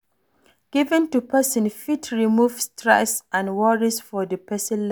Giving to person fit remove stress and worries for di person life